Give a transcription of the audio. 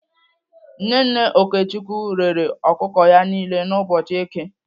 Nne nne Okechukwu rere ọkụkọ ya niile n'ụbọchị èké.